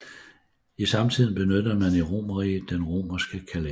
I samtiden benyttede man i Romerriget den romerske kalender